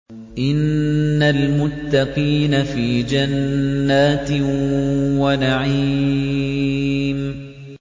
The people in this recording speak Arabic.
إِنَّ الْمُتَّقِينَ فِي جَنَّاتٍ وَنَعِيمٍ